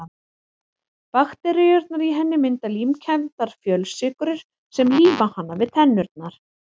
Bakteríurnar í henni mynda límkenndar fjölsykrur sem líma hana við tennurnar.